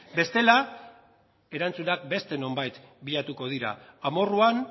bestela erantzunak beste nonbait bilatuko dira amorruan